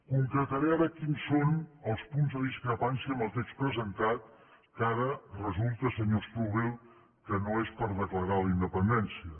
concretaré ara quins són els punts de discrepància amb el text presentat que ara resulta senyor strubell que no és per declarar la independència